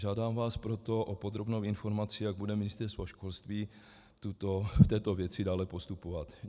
Žádám vás proto o podrobnou informaci, jak bude Ministerstvo školství v této věci dále postupovat.